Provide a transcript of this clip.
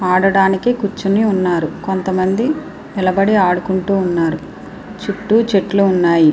ఆడడానికి కూర్చుని ఉన్నారు. కొంత మంది నిలబడి ఆడుకుంటున్నారు. చుట్టూ చెట్లు ఉన్నాయి.